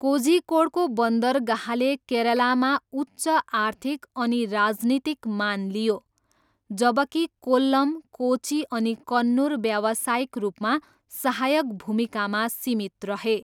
कोझिकोडको बन्दरगाहले केरलामा उच्च आर्थिक अनि राजनीतिक मान लियो, जबकि कोल्लम, कोची अनि कन्नुर व्यावसायिक रूपमा सहायक भूमिकामा सीमित रहे।